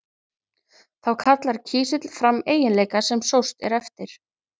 þá kallar kísill fram eiginleika sem sóst er eftir